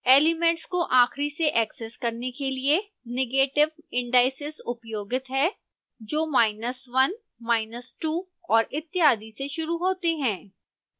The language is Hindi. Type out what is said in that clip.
एलिमेंट्स को आखिरी से ऐक्सेस करने के लिए negative indices उपयोगित हैं जो 1 2 और इत्यादि से शुरू होते हैं